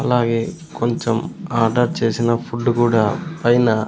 అలాగే కొంచెం ఆర్డర్ చేసిన ఫుడ్ కూడా పైన.